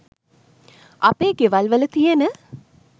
අපේ ගෙවල් වල තියෙන